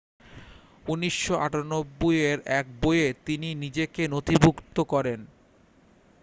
1998 এর এক বইয়ে তিনি নিজেকে নথিভুক্ত করেন